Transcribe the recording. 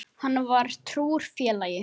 Hann var trúr félagi.